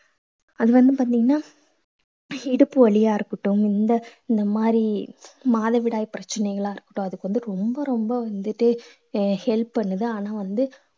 அது வந்து பாத்தீங்கன்னா இடுப்பு வலியா இருக்கட்டும் இந்த இந்த மாதிரி மாதவிடாய் பிரச்சனைகளா இருக்கட்டும் அதுக்கு வந்து ரொம்ப ரொம்ப வந்துட்டு he~ help பண்ணுது ஆனா வந்து